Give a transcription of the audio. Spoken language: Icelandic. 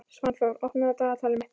Svanþór, opnaðu dagatalið mitt.